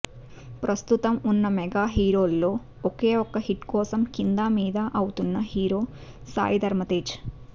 ప్రస్తుతం ఉన్న మెగా హీరోల్లో ఒకే ఒక్క హిట్ కోసం కిందామీదా అవుతున్న హీరో సాయి ధరమ్ తేజ్